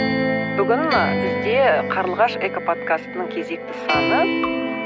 бүгін ы бізде қарлығаш экоподкастының кезекті саны